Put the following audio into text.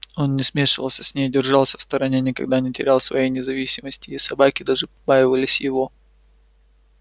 он не смешивался с ней держался в стороне никогда не терял своей независимости и собаки даже побаивались его